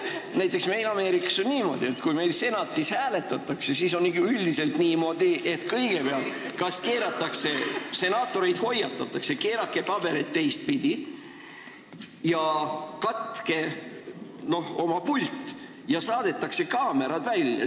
Näiteks meil Ameerikas on niimoodi, et kui Senatis hääletatakse, siis on üldiselt ikka nii, et kõigepealt senaatoreid hoiatatakse, et keerake paberid teistpidi ja katke oma pult, ja saadetakse kaamerad välja.